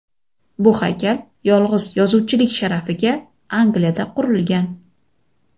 Bu haykal yolg‘iz yozuvchilik sharafiga Angliyada qurilgan.